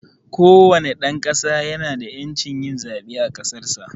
kowane dan ƙasa ya na da yancin yin zaɓe a ƙasarsa.